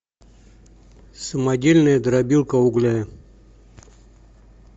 самодельная дробилка угля